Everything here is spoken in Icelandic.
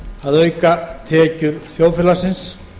að auka tekjur þjóðfélagsins